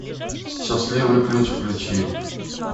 счастливый ключ включи